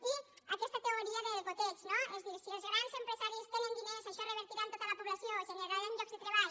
i aquesta teoria del goteig no és a dir si els grans empresaris tenen diners això revertirà en tota la població generaran llocs de treball